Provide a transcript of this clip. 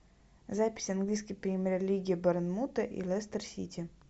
запись английской премьер лиги борнмута и лестер сити